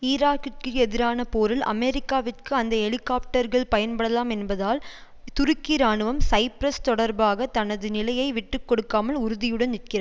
ஈராக்கிற்கு எதிரான போரில் அமெரிக்காவிற்கு அந்த ஹெலிகொப்டர்கள் பயன்படலாம் என்பதால் துருக்கி இராணுவம் சைப்பிரஸ் தொடர்பாக தனது நிலையை விட்டு கொடுக்காமல் உறுதியுடன் நிற்கிற